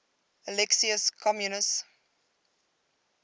alexius comnenus